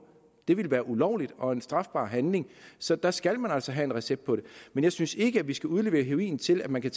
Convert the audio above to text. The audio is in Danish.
det ville være ulovligt og en strafbar handling så der skal man altså have en recept på det men jeg synes ikke at vi skal udlevere heroin til at man kan